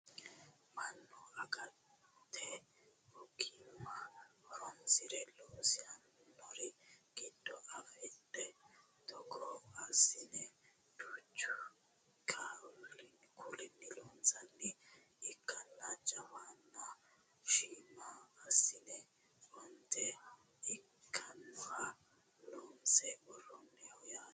mannu angate ogimma horonsire loosannori giddo safeede togo assine duuchu kulinni loonsanniha ikkanna jawanna shiima assine onte ikkannoha loonse worroonniho yaate